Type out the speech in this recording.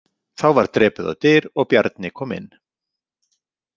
Þá var drepið á dyr og Bjarni kom inn.